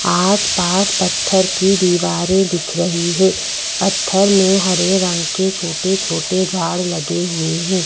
आस-पास पत्थर की दीवारें दिख रही है पत्थर में हरे रंग के छोटे-छोटे झाड़ लगे हुए हैं।